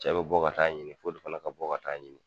Cɛ bɛ bɔ ka taa ɲini f'olu fana ka bɔ ka taa ɲini.